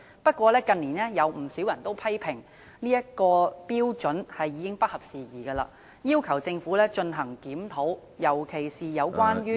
不過，近年有不少人批評有關標準已經不合時宜，並要求政府進行檢討，特別是有關......